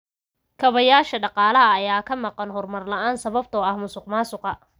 Kaabayaasha dhaqaalaha ayaa ka maqan horumar la'aan sababtoo ah musuqmaasuqa.